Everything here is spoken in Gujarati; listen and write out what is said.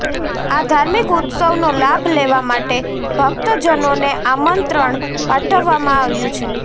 આ ધાર્મિક ઉત્સવનો લાભ લેવા માટે ભક્તજનોને આમંત્રણ પાઠવવામાં આવ્યું છે